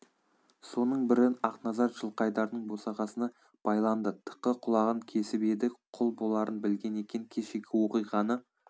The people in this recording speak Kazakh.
соның бірі ақназар жылқайдардың босағасына байланды тықы құлағын кесіп еді құл боларын білген екен кешегі оқиғаны